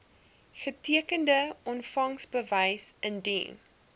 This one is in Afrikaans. getekende ontvangsbewys indien